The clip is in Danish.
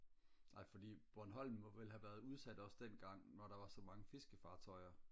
nej fordi bornholm ville have været udsat også dengang hvor der var så mange fiskefartøjer